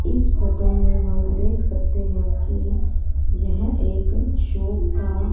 इस फोटो में हम देख सकते हैं कि यह एक शॉप का--